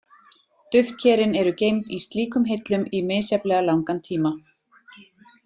Duftkerin eru geymd í slíkum hillum í misjafnlega langan tíma.